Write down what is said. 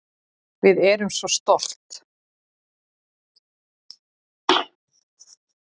Við erum svo stolt